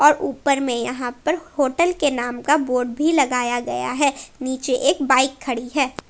ऊपर में यहां पर होटल के नाम का बोर्ड भी लगाया गया है नीचे एक बाइक खड़ी है।